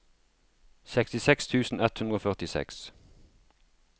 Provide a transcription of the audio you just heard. sekstiseks tusen ett hundre og førtiseks